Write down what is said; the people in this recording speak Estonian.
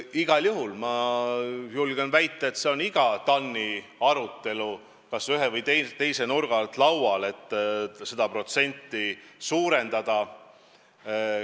Igal juhul ma julgen väita, et see on iga kord TAN-i arutelus kas ühe või teise nurga alt laual, kuidas seda protsenti suurendada.